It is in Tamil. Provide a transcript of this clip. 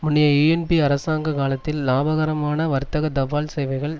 முன்னைய யூஎன்பி அரசாங்க காலத்தில் இலாபகரமான வர்த்தக தபால் சேவைகள்